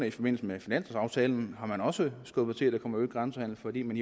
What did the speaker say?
i forbindelse med finanslovaftalen også skubbet til at der kommer øget grænsehandel fordi man